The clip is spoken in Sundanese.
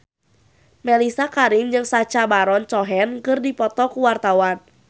Mellisa Karim jeung Sacha Baron Cohen keur dipoto ku wartawan